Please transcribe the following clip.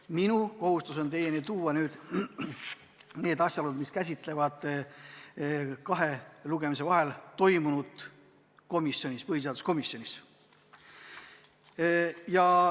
Minu kohustus on teieni tuua asjaolud, mis puudutavad kahe lugemise vahel põhiseaduskomisjonis toimunut.